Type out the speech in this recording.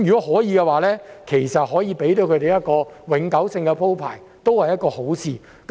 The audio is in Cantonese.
可以的話，為他們提供永久性的安排，也是一件好事。